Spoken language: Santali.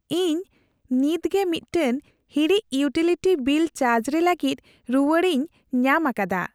ᱤᱧ ᱱᱤᱛᱜᱮ ᱢᱤᱫᱴᱟᱝ ᱦᱩᱲᱤᱡ ᱤᱭᱩᱴᱤᱞᱤᱴᱤ ᱵᱤᱞ ᱪᱟᱨᱡ ᱨᱮ ᱞᱟᱹᱜᱤᱫ ᱨᱩᱣᱟᱹᱲᱤᱧ ᱧᱟᱢ ᱟᱠᱟᱫᱟ ᱾